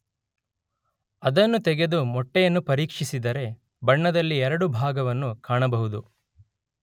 ಅದನ್ನು ತೆಗೆದು ಮೊಟ್ಟೆಯನ್ನು ಪರೀಕ್ಷಿಸಿದರೆ ಬಣ್ಣದಲ್ಲಿ ಎರಡು ಭಾಗವನ್ನು ಕಾಣಬಹುದು.